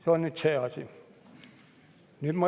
See on see asi.